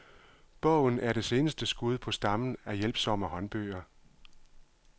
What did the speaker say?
Bogen er det seneste skud på stammen af hjælpsomme håndbøger.